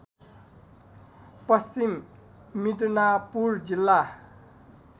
पश्चिम मिदनापुर जिल्ला